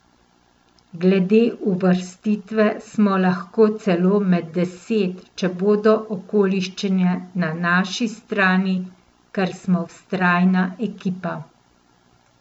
Glede uvrstitve smo lahko celo med deset, če bodo okoliščine na naši strani, ker smo vztrajna ekipa.